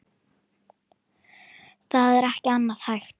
Það er ekki annað hægt.